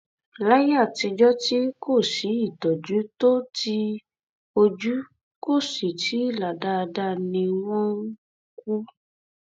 ọrọ tí àwọn aṣáájú um ẹgbẹ apc míín kò lè um sọ òun sọ ọ o